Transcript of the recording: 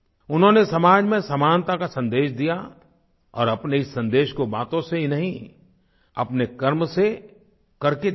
उन्होंने समाज में समानता का सन्देश दिया और अपने इस सन्देश को बातों से ही नहीं अपने कर्म से करके दिखाया